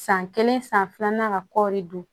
San kelen san filanan ka kɔɔri dun